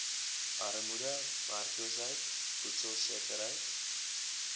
armoede werkloosheid voedselsekerheid